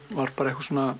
var bara